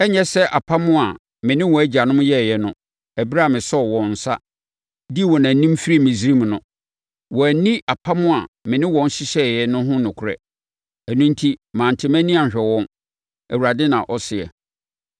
Ɛrenyɛ sɛ apam a me ne wɔn agyanom yɛeɛ no ɛberɛ a mesɔɔ wɔn nsa dii wɔn anim firii Misraim no. Wɔanni apam a me ne wɔn hyehyɛeɛ no ho nokorɛ, ɛno enti mante mʼani anhwɛ wɔn, Awurade na ɔseɛ.